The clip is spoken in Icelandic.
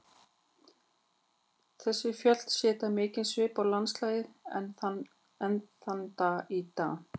Þessi fjöll setja mikinn svip á landslagið enn þann dag í dag.